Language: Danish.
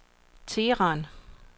Teheran